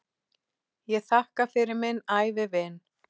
Ég þakka fyrir minn ævivin.